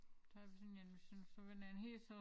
Så har vi sådan en sådan sådan en helt så